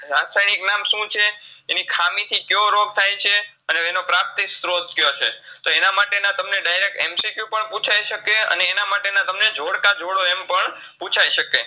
રાસાયનિક નામ શું છે એની ખામી થી ક્યો રોગ થાયછે, અને એનો પ્રાપ્તિ સ્ત્રોત ક્યોછે તો એનામાટેના તમને direct MCQ પણ પૂછાઈ શકે અને એનામાટેના તમને ઝોડકાઝોડો એમપણ પૂછાઈ શકે